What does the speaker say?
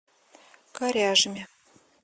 коряжме